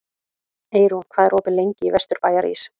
Eyrún, hvað er opið lengi í Vesturbæjarís?